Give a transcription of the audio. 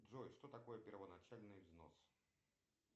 джой что такое первоначальный взнос